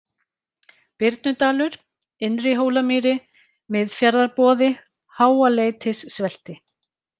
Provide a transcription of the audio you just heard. Birnudalur, Innri-Hólamýri, Miðfjarðarboði, Háaleitissvelti